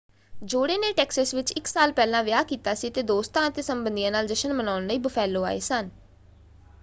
ਜੋੜੇ ਨੇ ਟੈਕਸਸ ਵਿੱਚ ਇਕ ਸਾਲ ਪਹਿਲਾਂ ਵਿਆਹ ਕੀਤਾ ਸੀ ਅਤੇ ਦੋਸਤਾਂ ਅਤੇ ਸੰਬੰਧੀਆਂ ਨਾਲ ਜਸ਼ਨ ਮਨਾਉਣ ਲਈ ਬੁਫੈਲੋ ਆਏ ਸਨ।